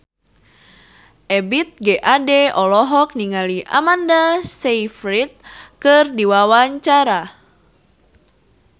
Ebith G. Ade olohok ningali Amanda Sayfried keur diwawancara